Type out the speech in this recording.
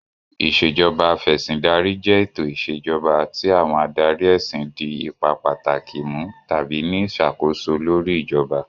Ìṣèjoba Af'ẹ̀sìndarí jẹ́ ètò ìṣèjoba tí àwọn adarí ẹ̀sìn di ipa pàtàkì mú tàbí ní ìṣàkóso lórí ìjọba